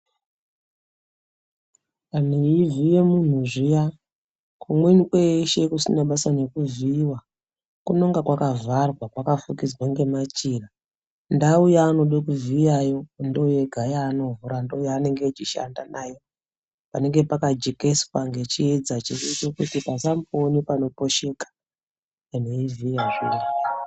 Kana weyizive munhu zviya kumweni kwese kusina basa nekuziva kunonga kwakavharwa kwakapfukidzwe nemachira ndawu yaunokuziyayi ndoyega yaanovhura ndoyega yaanenge achishanda nayo panenge pakjekeswa kuti pasambove nepano posheka.